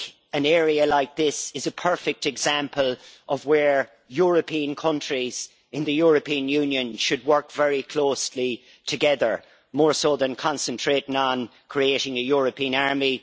An area like this is a perfect example of where European countries in the European Union should work very closely together, more so than concentrating on creating a European army.